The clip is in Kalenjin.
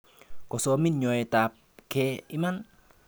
Kosomin nyoetb gee iman.